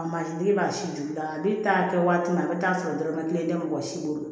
A mansinden b'a si juya ne t'a kɛ waati min a bɛ taa sɔrɔ dɔrɔmɛ kelen tɛ mɔgɔ si bolo